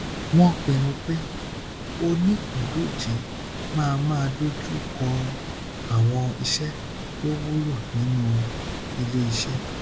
wọn pinnu pé onípìndòjé máa máa dojú kọ àwọn iṣẹ tó wúlò nínú iléiṣẹ